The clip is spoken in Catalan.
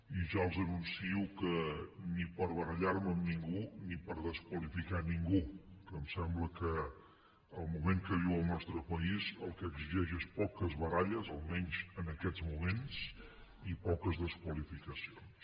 i ja els anuncio que ni per barallar me amb ningú ni per desqualificar ningú que en sembla que el moment que viu el nostre país el que exigeix és poques baralles almenys en aquests moments i poques desqualificacions